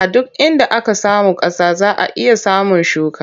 A duk inda aka samu ƙasa za a iya samun shuka.